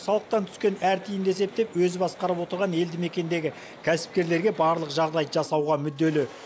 салықтан түскен әр тиынды есептеп өзі басқарып отырған елді мекендегі кәсіпкерлерге барлық жағдайды жасауға мүдделі